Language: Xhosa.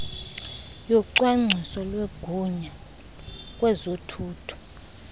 yocwangcwiso lwegunya kwezothutho